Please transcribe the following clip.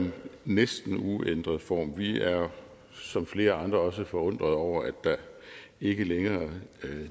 næsten uændret form vi er som flere andre også forundrede over at der ikke længere